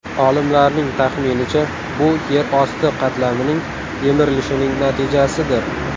Olimlarning taxminicha, bu yer osti qatlamining yemirilishining natijasidir.